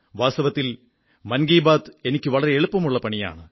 വാസ്തവത്തിൽ മൻ കീ ബാത് എനിക്ക് വളരെ എളുപ്പമുള്ള പണിയാണ്